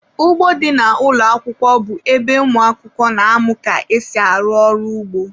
Ụgbọ dị na ụlọ akwụkwọ bụ ebe ụmụaka na-amụ ka esi arụ ọrụ ugbo.